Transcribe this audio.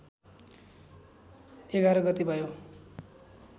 ११ गते भयो